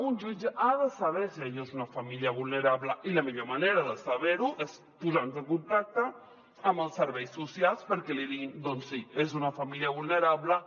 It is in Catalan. un jutge ha de saber si allò és una família vulnerable i la millor manera de saber·ho és posant·se en contacte amb els serveis socials perquè li diguin doncs sí és una famí·lia vulnerable